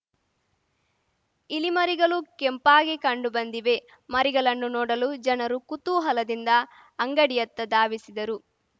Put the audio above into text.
ಇಲಿ ಮರಿಗಲು ಕೆಂಪಾಗಿ ಕಂಡುಬಂದಿವೆ ಮರಿಗಲನ್ನು ನೋಡಲು ಜನರು ಕುತೂಹಲದಿಂದ ಅಂಗಡಿಯತ್ತ ಧಾವಿಸಿದ್ದರು